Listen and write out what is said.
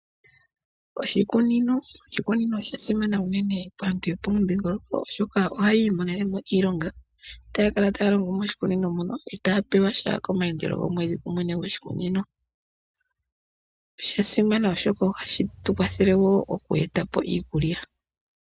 Oshikunino, oshikunino osha simana unene kaantu yopomudhingoloko oshoka ohayi imonenemo iilonga taya kala taya longo moshikunino muno taya pewasha komayandelo gomwedhi kumwene gwoshikunino. Osha simana oshoka ohashi tukwathele woo oku etapo iikulya.